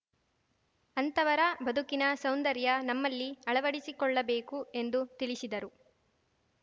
ಅಂತವರ ಬದುಕಿನ ಸೌಂದರ್ಯ ನಮ್ಮಲ್ಲಿ ಅಳವಡಿಸಿಕೊಳ್ಳಬೇಕು ಎಂದು ತಿಳಿಸಿದರು